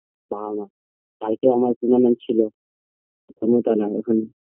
বাবা মা কালকে আমার tournament ছিল ক্ষমতা নাই এখন